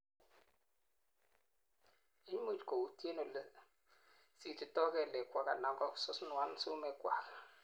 imuch kowuutien ole sititoi keleekwak anan kosunuan sumeekwak